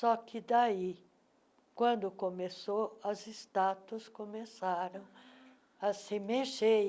Só que daí, quando começou, as estátuas começaram a se mexer.